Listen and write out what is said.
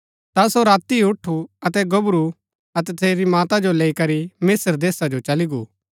ता सो राती ही उठु अतै गोबरू अतै तसेरी माता जो लैई करी मिस्त्र देशा जो चली गो